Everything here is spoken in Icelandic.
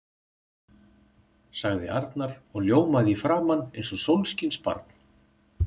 sagði Arnar og ljómaði í framan eins og sólskinsbarn.